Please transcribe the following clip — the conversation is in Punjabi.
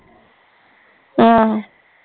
ਆਹੋ